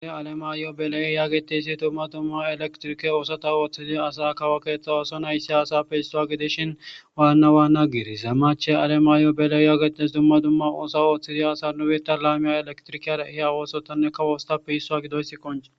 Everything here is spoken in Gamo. se alemaiyo belay yagetiysi dumma dumma elektirike oosota ooththizi asa kawo keeththa oso nayssi asa peissuwa gidishin waanna waanna giiri zammache alema yo belay yaagetes dumma dumma oosa ooththizi asa nubita laamiya elektrikeara ihe awoosotane ka woostappe hissua gidoysi qonce